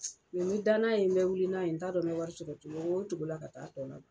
n bi da n'a ye, ne be wuli n'a ye. N t'a dɔn ne be wari sɔrɔ cogo wo cogo la ka taa tɔ